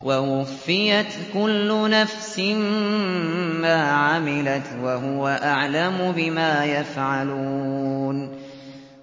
وَوُفِّيَتْ كُلُّ نَفْسٍ مَّا عَمِلَتْ وَهُوَ أَعْلَمُ بِمَا يَفْعَلُونَ